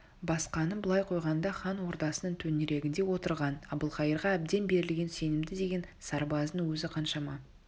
басқаны былай қойғанда хан ордасының төңірегінде отырған әбілқайырға әбден берілген сенімді деген сарбаздың өзі қаншама